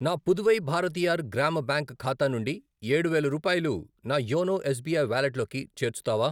నా పుదువై భారతీయర్ గ్రామ బ్యాంక్ ఖాతా నుండి ఏడు వేలు రూపాయలు నా యోనో ఎస్ బీ ఐ వాలెట్లోకి చేర్చుతావా?